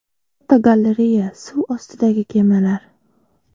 Fotogalereya: Suv ostidagi kemalar.